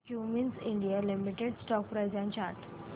Cummins India limited stock price and chart